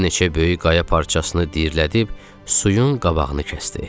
Bir neçə böyük qaya parçasını dirəyib, suyun qabağını kəsdi.